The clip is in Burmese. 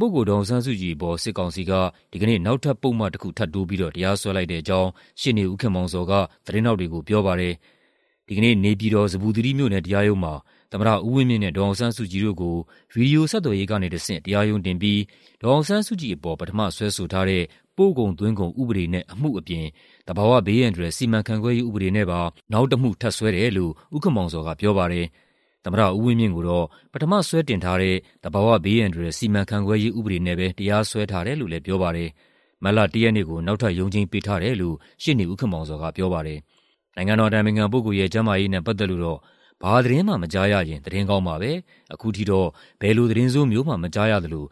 ပုဂ္ဂိုလ် ဒေါ်အောင်ဆန်းစုကြည်အပေါ် စစ်ကောင်စီက ဒီကနေ့ နောက်ထပ်ပုဒ်မ တစ်ခုထပ်တိုးပြီးတော့ တရားစွဲလိုက်တဲ့အကြောင်း ရှေ့နေ ဦးခင်မောင်ဇော်က သတင်းထောက်တွေကို ပြောပါတယ်။ ဒီကနေ့ နေပြည်တော်၊ ဇမ္ဗူသီရိမြို့နယ် တရားရုံးမှာ သမ္မတဦးဝင်းမြင့်နဲ့ ဒေါ်အောင်ဆန်းစုကြည်တို့ကို ဗွီဒီယိုဆက်သွယ်ရေးကနေတဆင့် တရားရုံးတင်ပြီး ဒေါ်အောင်ဆန်းစုကြည်ကို ပထမစွဲဆိုထားတဲ့ ပို့ကုန်သွင်းကုန်ဥပဒေနဲ့ အမှုအပြင် သဘာဝဘေးအန္တရာယ်စီမံခန့်ခွဲရေးဥပဒေနဲ့ပါ နောက်တမှု ထပ်စွဲတယ်လို့ ဦးခင်မောင်ဇော်ကပြောပါတယ်။ သမ္မတဦးဝင်းမြင့်ကိုတော့ ပထမစွဲတင်ထားတဲ့ သဘာဝဘေးအန္တရာယ်စီမံခန့်ခွဲရေး ဥပဒေနဲ့ပဲ တရားစွဲထားတယ်လို့လည်း ပြောပါတယ်။ မတ်လ ၁ ရက်နေ့ကို နောက်ထပ်ရုံးချိန်းပေးထားတယ်လို့ ရှေ့နေဦးခင်မောင်ဇော်ကပြောပါတယ်။ နိုင်ငံတော်အတိုင်ပင်ခံပုဂ္ဂိုလ်ရဲ့ ကျန်းမာရေးနဲ့ပတ်သက်လို့တော့ "ဘာသတင်းမှ မကြားရရင် သတင်းကောင်းပါပဲ၊ အခုထိတော့ ဘယ်လိုသတင်းဆိုးမျိုးမှ မကြားရသလို